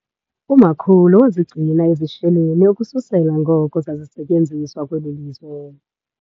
Umakhulu wazigcina ezi sheleni ukususela ngoko zazisetyenziswa kweli lizwe.